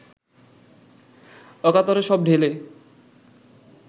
অকাতরে সব ঢেলে